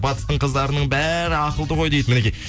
батыстың қыздарының бәрі ақылды ғой дейді мінекей